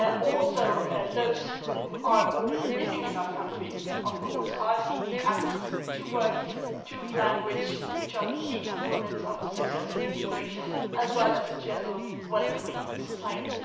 Also, those who are already living in our countries are, of course, seeking access to work and to language which are key components of successful integration as well as a generally welcoming society.